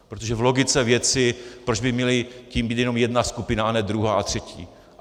Protože v logice věci, proč by měla tím být jenom jedna skupina a ne druhá a třetí.